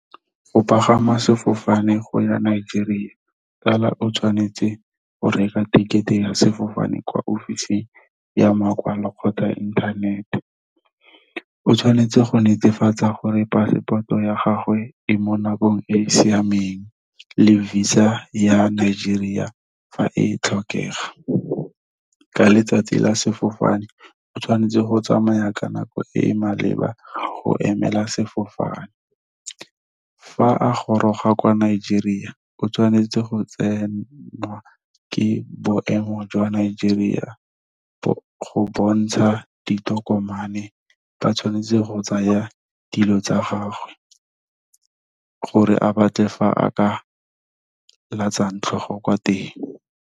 Go pagama sefofane go ya Nigeria o tshwanetse go reka ticket-e ya sefofane kwa ofising ya makwalo kgotsa inthanete. O tshwanetse go netefatsa gore passport-o ya gagwe e mo nakong e e siameng, le visa ya Nigeria fa e tlhokega. Ka letsatsi la sefofane o tshwanetse go tsamaya ka nako e e maleba go emela sefofane. Fa a goroga kwa Nigeria o tshwanetse go tsenwa ke boemo jwa Nigeria, go bontsha ditokomane ba tshwanetse go tsaya dilo tsa gagwe, gore a batle fa a ka latsang tlhogo kwa teng.